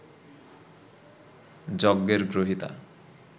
যজ্ঞের গ্রহীতা